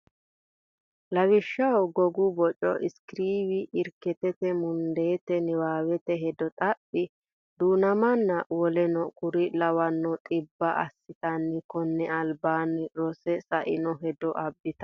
Lawishshaho gogu baca iskervii rikkeeti mundeete niwaawete hedo xaphi du namanna woleno kuri lawanno dhibba assatenni konni albaanni rosse sa ino hedo abbitanno.